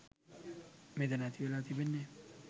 මෙතැන ඇති වෙලා තිබෙන්නේ